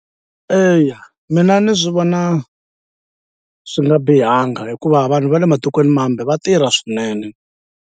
Eya mina ni swi vona swi nga bihanga hikuva vanhu va le matikweni mambe va tirha swinene.